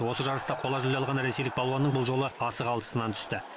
осы жарыста қола жүлде алған ресейлік балуанның бұл жолы асығы алшысынан түсті